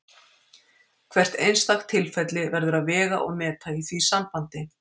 Hvert einstakt tilfelli verður að vega og meta í því sambandi.